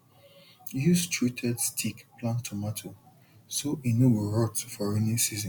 use treated stick plant tomato so e no go rot for rainy season